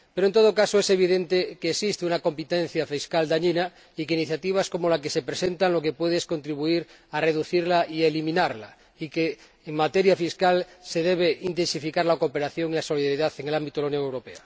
Pero, en todo caso, es evidente que existe una competencia fiscal dañina y que iniciativas como la que se presenta lo que pueden es contribuir a reducirla y a eliminarla, y que en materia fiscal se debe intensificar la cooperación y la solidaridad en el ámbito de la Unión Europea.